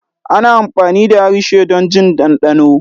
ana amfani da harshe don jin dandano.